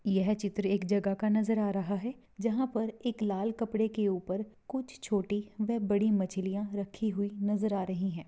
यह चित्र एक जगह का नजर आ रहा है जहां पर एक लाल कपड़े के ऊपर कुछ छोटी वह बड़ी मछलियां रखी हुई नजर आ रही है।